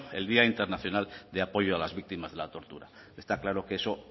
el día internacional de apoyo a las víctimas de la tortura está claro que eso